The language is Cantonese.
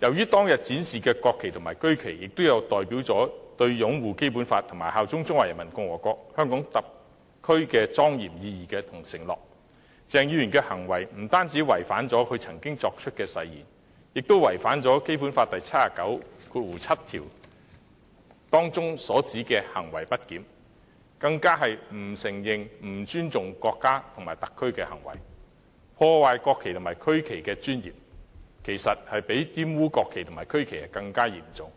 由於當天所展示的國旗和區旗均代表着擁護《基本法》和效忠中華人民共和國香港特別行政區的莊嚴意義和承諾，鄭議員的行為不但違反其曾作出的誓言，亦干犯《基本法》第七十九條第七項所指的行為不檢，更是不承認、不尊重國家和特區的行為，破壞國旗和區旗的尊嚴，其實較玷污國旗和區旗更為嚴重，